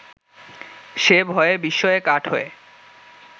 সে ভয়ে বিস্ময়ে কাঠ হয়ে